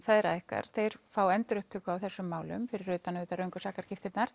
feðra ykkar þeir fá endurupptöku á þessum málum fyrir utan auðvitað röngu